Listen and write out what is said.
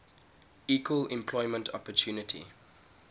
equal employment opportunity